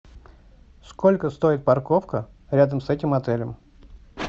сколько стоит парковка рядом с этим отелем